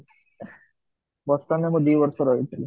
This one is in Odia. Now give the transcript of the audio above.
Boston ରେ ମୁଁ ଦି ବର୍ଷ ରହିଥିଲି